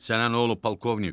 Sənə nə olub polkovnik?